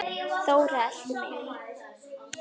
Þóra elti mig.